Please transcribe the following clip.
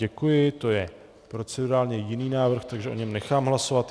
Děkuji, to je procedurálně jiný návrh, takže o něm nechám hlasovat.